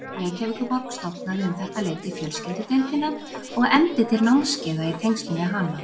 Reykjavíkurborg stofnaði um þetta leyti fjölskyldudeildina og efndi til námskeiða í tengslum við hana.